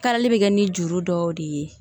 Kalali bɛ kɛ ni juru dɔw de ye